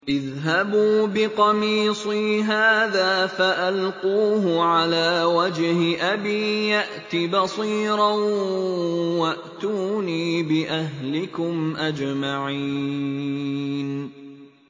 اذْهَبُوا بِقَمِيصِي هَٰذَا فَأَلْقُوهُ عَلَىٰ وَجْهِ أَبِي يَأْتِ بَصِيرًا وَأْتُونِي بِأَهْلِكُمْ أَجْمَعِينَ